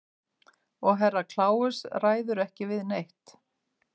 Og Herra Kláus ræður ekki við neitt.